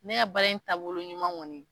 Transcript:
Ne ka baara in taabolo ɲuman kɔni